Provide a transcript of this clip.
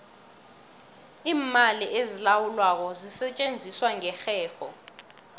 iimali ezilawulwako zisetjenziswa ngerherho